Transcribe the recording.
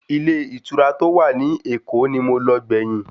Ilé ìtura tó wà ní Èkó ni mo lọ gbẹ̀yìn.